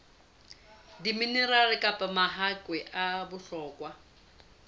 diminerale kapa mahakwe a bohlokwa